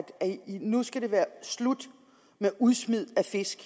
at det nu skal være slut med udsmidet af fisk